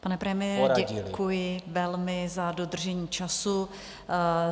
Pane premiére, děkuji velmi za dodržení času.